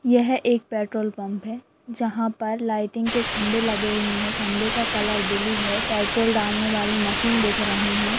यह एक petrol pump है। जहां पर लाइटिंग के खंबे लगे हुए है। खंबे का कलर ब्लू है। पेट्रोल डालने वाली मशीन दिख रहीं है।